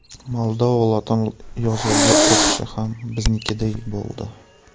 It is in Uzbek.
Moldova lotin yozuviga o‘tishi ham biznikiday bo‘ldi.